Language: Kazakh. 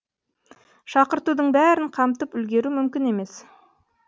шақыртудың бәрін қамтып үлгеру мүмкін емес